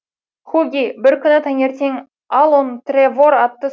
хуги бір күні таңертен алон трэвор атты